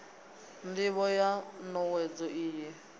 ndivho ya n owedzo iyi